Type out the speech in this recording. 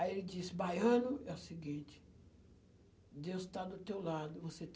Aí ele disse, baiano é o seguinte, Deus está do teu lado, você